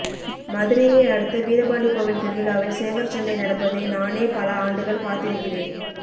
மதுரையை அடுத்த வீரபாண்டி கோவில் திருவிழாவில் சேவற்சண்டை நடப்பதை நானே பல ஆண்டுகள் பார்த்திருக்கிறேன்